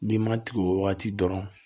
N'i ma tigɛ o wagati dɔrɔn